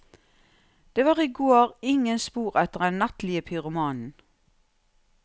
Det var i går ingen spor etter den nattlige pyromanen.